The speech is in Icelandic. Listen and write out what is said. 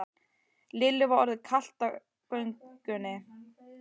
Lillu var orðið kalt á göngunni.